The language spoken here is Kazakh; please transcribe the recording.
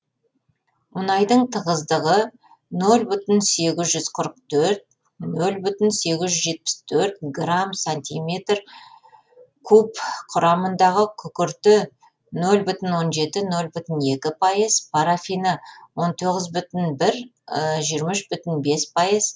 мұнайдың тығыздығы нөл бүтін сегіз жүз қырық төрт нөл бүтін сегіз жүз жетпіс төрт грамм сантиметр куб құрамындағы күкірті нөл бүтін он жеті нөл бүтін екі аһпайыз парафині он тоғыз бүтін бір жиырма үш бүтін бес пайыз